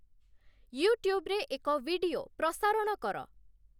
ୟୁଟ୍ୟୁବରେ ଏକ ଭିଡିଓ ପ୍ରସାରଣ କର ।